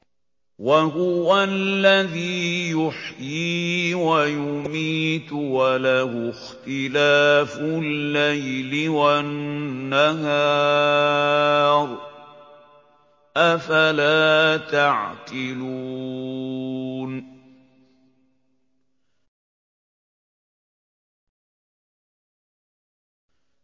وَهُوَ الَّذِي يُحْيِي وَيُمِيتُ وَلَهُ اخْتِلَافُ اللَّيْلِ وَالنَّهَارِ ۚ أَفَلَا تَعْقِلُونَ